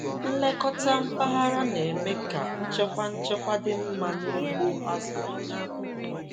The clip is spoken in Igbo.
Nlekọta mpaghara na-eme ka nchekwa nchekwa dị mma n’ugbo azụ Naịjirịa.